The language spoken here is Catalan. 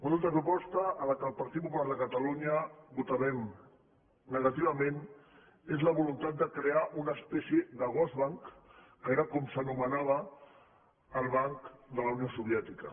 una altra proposta en la qual el partit popular de ca·talunya votarem negativament és la voluntat de crear una espècie de gosbank que era com s’anomenava el banc de la unió soviètica